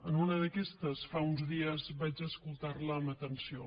en una d’aquestes fa uns dies vaig escoltar la amb atenció